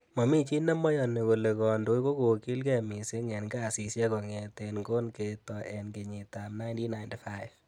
Momi chi nemoyoni kole kondoik kokogilge missing en kasisiek kongeten kon ketoi en kenyitab 1995.